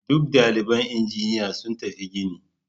Duk daliban injiniya sun tafi gini.